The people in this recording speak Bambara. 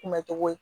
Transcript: Kunbɛcogo ye